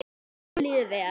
Okkur líður vel.